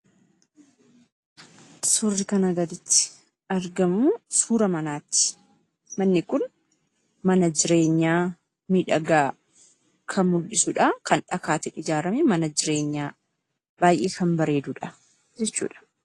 Suurri kanaa gaditti argamuu suura manaati. Manni kun mana jireenyaa miidhagaa kan mul'isudhaa. Kan dhakaatiin ijaarame mana jireenyaa baay'ee kan bareedudha jechuudha.